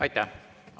Aitäh!